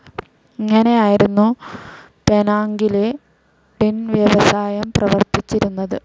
ഇങ്ങനെയായിരുന്നു പെനാംങ്ങിലെ ടിൻ വ്യവസായം പ്രവർത്തിച്ചിരുന്നത്.